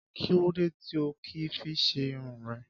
Kí lódé tí o ò kì í fi ṣe irun rẹ?